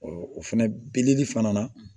o fɛnɛ beleli fana na